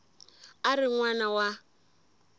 a ri n wana wa